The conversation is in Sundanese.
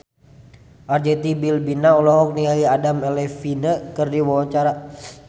Arzetti Bilbina olohok ningali Adam Levine keur diwawancara